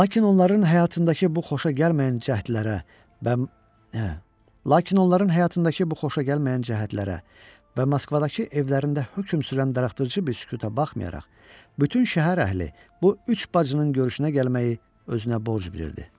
Lakin onların həyatındakı bu xoşagəlməyən cəhdlərə və Moskvadakı evlərində hökm sürən darıxdırıcı büsütüə baxmayaraq, bütün şəhər əhli bu üç bacının görüşünə gəlməyi özünə borc bilirdi.